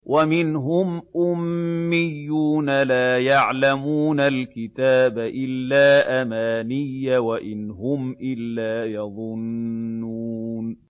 وَمِنْهُمْ أُمِّيُّونَ لَا يَعْلَمُونَ الْكِتَابَ إِلَّا أَمَانِيَّ وَإِنْ هُمْ إِلَّا يَظُنُّونَ